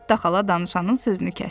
Netta xala danışanın sözünü kəsdi.